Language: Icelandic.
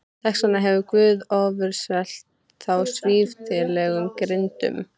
Þess vegna hefur Guð ofurselt þá svívirðilegum girndum.